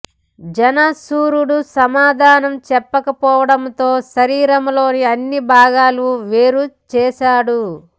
జనసురుడు సమాధానం చెప్పకపోవడంతో శరీరం లోని అన్ని బాగాలు వేరు చేసాడు